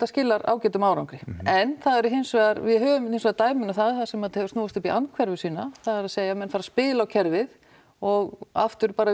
skilar ágætum árangri en það eru hins vegar við höfum hins vegar dæmin um það þar sem þetta hefur snúist upp í andhverfu sína það er að segja menn fara að spila á kerfið og aftur bara